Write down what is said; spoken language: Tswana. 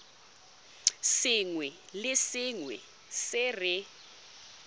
sengwe le sengwe se re